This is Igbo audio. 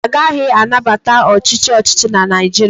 Agaghị anabata ọchịchị ọchịchị na Naịjirịa